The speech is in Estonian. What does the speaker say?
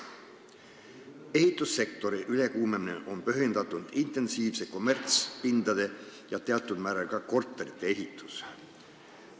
Ehitussektori ülekuumenemine on põhjendatult tingitud intensiivsest kommertspindade ja teatud määral ka korterite ehitusest.